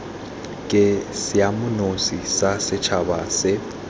ke seemanosi sa setšhaba sa